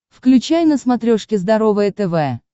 включай на смотрешке здоровое тв